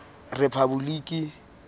rephaboliki